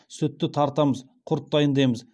сүтті тартамыз құрт дайындаймыз